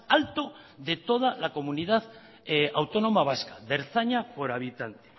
alto de toda la comunidad autónoma vasca de ertzaina por habitante